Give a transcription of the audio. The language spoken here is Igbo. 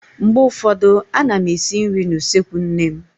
Mgbe ụfọdụ a na m esi nri n'usekwu nne m.